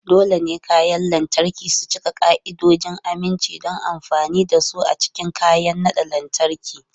Dole ne kayan lantarki su cika ka'idojin aminci don amfani da su a cikin kayan naɗa lantarki.